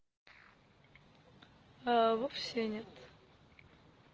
а вовсе нет